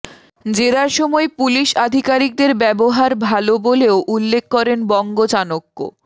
জেরার সময় পুলিশ আধিকারিকদের ব্যবহার ভালো বলেও উল্লেখ করেন বঙ্গ চাণক্য